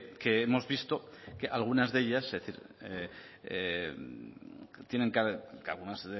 que hemos visto que algunas de ellas es decir tienen que algunas